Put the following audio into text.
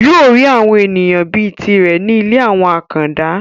yóò rí àwọn èèyàn bíi tirẹ̀ ní ilé àwọn àkàndá